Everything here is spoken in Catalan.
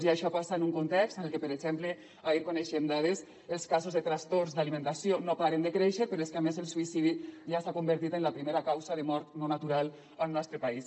i això passa en un context en el que per exemple ahir en coneixíem dades els casos de trastorns d’alimentació no paren de créixer però és que a més el suïcidi ja s’ha convertit en la primera causa de mort no natural al nostre país